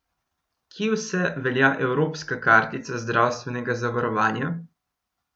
Kje vse velja evropska kartica zdravstvenega zavarovanja?